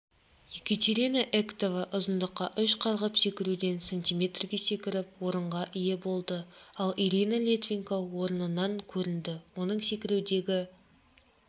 екатеринаэктова ұзындыққа үш қарғып секіруден см-ге секіріп орынға ие болды ал ириналитвиненко орыннан көрінді оның секірудегі